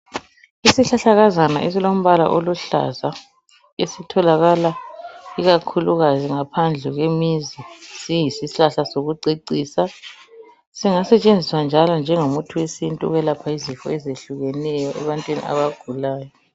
isihlahlakazana esilombala oluhlaza seitholakala ikakhulukazi ngaphandle kwemizi siyishlahla sokucecisa singasetshenziswa njalo njengo muthi wesintu ukwelapha izifo ezihlukeneyo ebantwini abagulayo